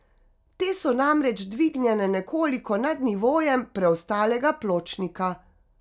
Te so namreč dvignjene nekoliko nad nivojem preostalega pločnika.